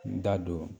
N da don